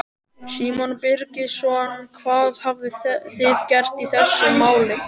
Símon Birgisson: Hvað hafið þið gert í þessum máli?